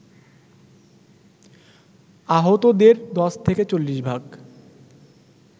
আহতদের ১০ থেকে ৪০ ভাগ